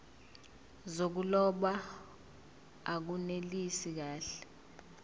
zokuloba akunelisi kahle